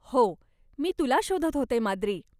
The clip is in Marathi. हो, मी तुला शोधत होते माद्री.